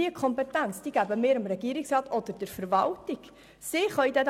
Die Kompetenz dazu würden der Regierungsrat und die Verwaltung erhalten.